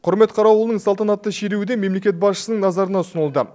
құрмет қарауылының салтанатты шеруі де мемлекет басшысының назарына ұсынылды